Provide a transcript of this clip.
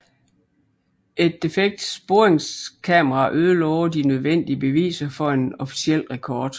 Et defekt sporingskamera ødelagde de nødvendige beviser for en officiel rekord